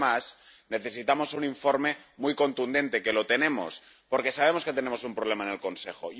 Porque, además, necesitamos un informe muy contundente —que lo tenemos—, porque sabemos que tenemos un problema en el Consejo.